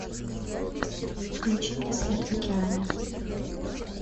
включи мне свет в океане